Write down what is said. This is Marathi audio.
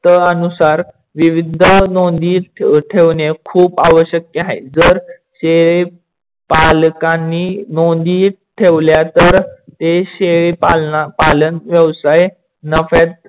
अनुसार विविध नोंदी ठेवणे खूप आवश्यक आहे. जर शेळी पालकांनी नोंदी ठेवल्या तर ते शेळी पालन व्यवसाय नफ्यात